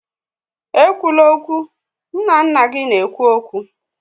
Ekwula okwu! Nna nna gị na-ekwu okwu